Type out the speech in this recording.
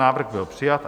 Návrh byl přijat.